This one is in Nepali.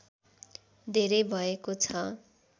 धेरै भएको छ